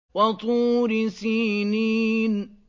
وَطُورِ سِينِينَ